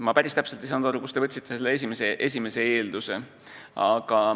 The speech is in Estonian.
Ma päris täpselt ei saanud aru, kust te võtsite selle esimese eelduse.